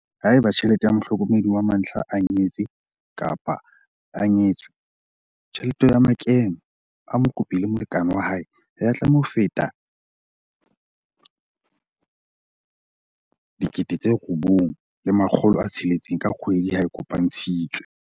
Haeba mohlokomedi wa mantlha a nyetse-nyetswe, tjhelete ya makeno a mokopi le molekane wa hae ha ya tlameha ho feta R9 600 ka kgwedi ha a kopantshitswe.